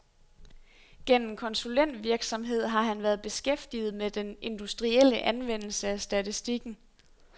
Gennem konsulentvirksomhed har han været beskæftiget med den industrielle anvendelse af statistikken.